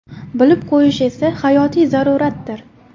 Bilib qo‘yish esa hayotiy zaruratdir.